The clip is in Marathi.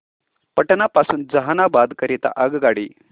पटना पासून जहानाबाद करीता आगगाडी